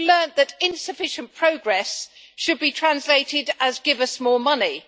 We have learned that insufficient progress should be translated as give us more money'.